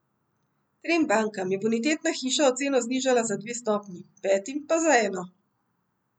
Trem bankam je bonitetna hiša oceno znižala za dve stopnji, petim pa za eno.